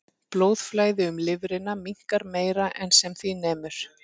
Blóðflæði um lifrina minnkar meira en sem því nemur.